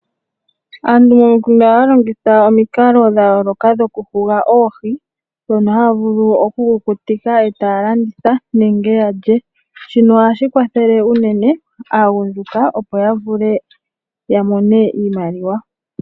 Aantu momikunda ohaa longitha omikalo dha yooloka dhoku huga oohi, ndhono haa vulu oku kukutika e taa landitha nenge ya lye. Shono oha shi kwathele unene aagundjuka, opo ya vule ya mone iimaliwa